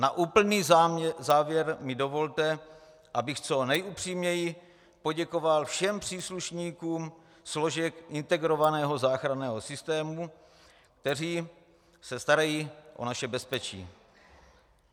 Na úplný závěr mi dovolte, abych co nejupřímněji poděkoval všem příslušníkům složek integrovaného záchranného systému, kteří se starají o naše bezpečí.